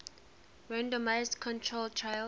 randomized controlled trials